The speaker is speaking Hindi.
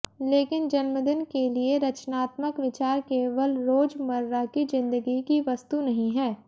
लेकिन जन्मदिन के लिए रचनात्मक विचार केवल रोजमर्रा की जिंदगी की वस्तु नहीं हैं